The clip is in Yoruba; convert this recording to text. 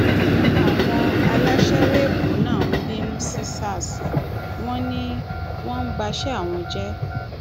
àwọn aláṣẹwọ ẹkọ náà ń bínú sí sars wọn ni wọn ń bàṣẹ àwọn jẹ